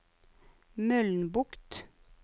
Mølnbukt